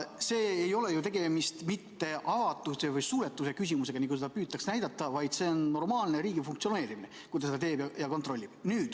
Siin ei ole ju tegemist mitte avatuse või suletuse küsimusega, nagu seda püütakse näidata, vaid see on normaalne riigi funktsioneerimine, kui ta seda kontrollib.